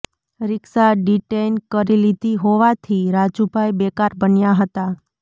રીક્ષા detain કરી લીધી હોવાથી રાજુભાઈ બેકાર બન્યા હતા